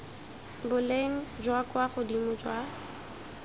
boleng jwa kwa godimo jwa